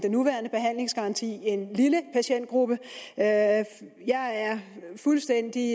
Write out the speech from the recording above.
nuværende behandlingsgaranti en lille patientgruppe jeg er fuldstændig